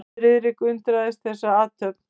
Friðrik undraðist þessa athöfn.